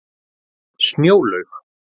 Snjólaug